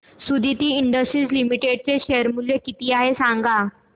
Suditi industries limited चे share मूल्य किती आहे सांगा